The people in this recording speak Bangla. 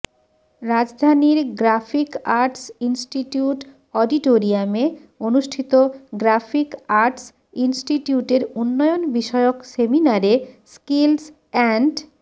রাজধানীর গ্রাফিক আর্টস ইন্সটিটিউট অডিটোরিয়ামে অনুষ্ঠিত গ্রাফিক আর্টস ইন্সটিটিউটের উন্নয়ন বিষয়ক সেমিনারে স্কিলস অ্যান্ড